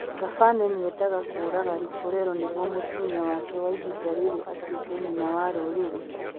Thabane nĩ eendaga kũũraga Lipolelo nĩguo mũtumia wake wa ihinda rĩrĩ atuĩke nyina wa rũrĩrĩ.